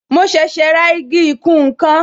Mo ṣẹ̀ṣẹ̀ ra igi ìkùn nkan